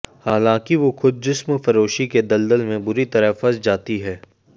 हालांकि वो खुद जिस्म फरोशी के दलदल में बुरी तरह फंस जाती है